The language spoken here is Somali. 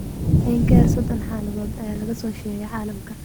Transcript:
In ka yar sodon xaaladood ayaa laga soo sheegay caalamka.